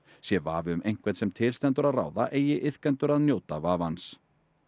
sé vafi um einhvern sem til stendur að ráða eigi iðkendur að njóta vafans